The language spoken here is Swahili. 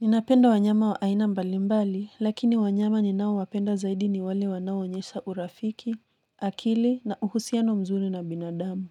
Ninapenda wanyama wa aina mbalimbali, lakini wanyama ninao wapenda zaidi ni wale wanao onyesha urafiki, akili na uhusiano mzuri na binadamu.